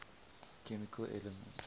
chemical elements